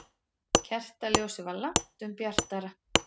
Kertaljósið var langtum bjartara.